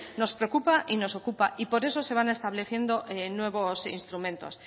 nos preocupa y nos ocupa y por eso se van estableciendo nuevos instrumentos